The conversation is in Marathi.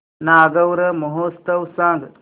नागौर महोत्सव सांग